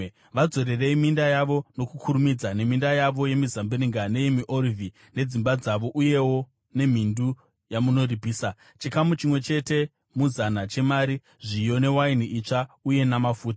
Vadzorerei minda yavo nokukurumidza, neminda yavo yemizambiringa, neyemiorivhi, nedzimba dzavo uyewo nemhindu yamunoripisa, chikamu chimwe chete muzana chemari, zviyo, newaini itsva uye namafuta.”